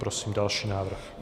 Prosím další návrh.